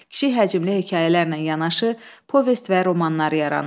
Kiçik həcmli hekayələrlə yanaşı, povest və romanlar yaranır.